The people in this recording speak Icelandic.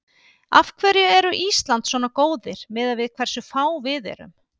Af hverju eru Ísland svona góðir miðað við hversu fá við erum?